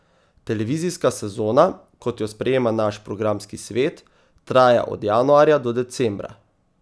Televizijska sezona, kot jo sprejema naš programski svet, traja od januarja do decembra.